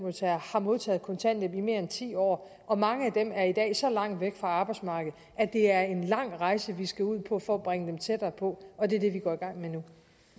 har modtaget kontanthjælp i mere end ti år og mange af dem er i dag så langt væk fra arbejdsmarkedet at det er en lang rejse vi skal ud på for at bringe dem tættere på og det er det vi går i gang med nu